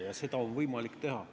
Ja seda on võimalik teha.